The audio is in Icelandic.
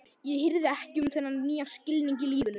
Ég hirði ekki um þennan nýja skilning á lífinu.